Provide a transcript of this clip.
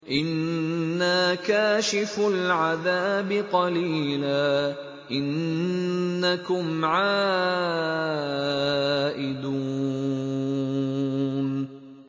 إِنَّا كَاشِفُو الْعَذَابِ قَلِيلًا ۚ إِنَّكُمْ عَائِدُونَ